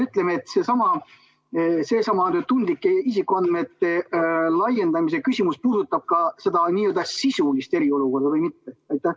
Kas seesama tundlike isikuandmete laiendamise teema puudutab ka seda n-ö sisulist eriolukorda või mitte?